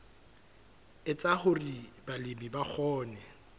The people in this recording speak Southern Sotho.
etsa hore balemi ba kgone